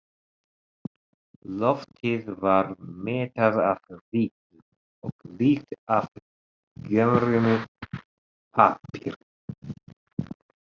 Loftið var mettað af ryki og lykt af gömlum pappír.